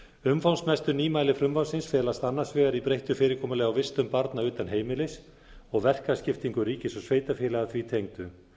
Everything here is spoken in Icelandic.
umfangsmestu nýmæli frumvarpsins felast annars vegar í breyttu fyrirkomulagi á vistun barna utan heimilis og verkaskiptingu ríkis og sveitarfélaga því tengdu